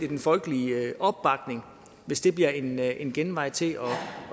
den folkelige opbakning hvis det bliver en en genvej til